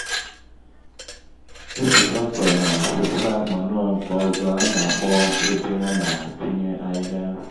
otú traktọ na-awụsa manụonke ọzọ ana-akpọ ébé ana-akunye ahịhịa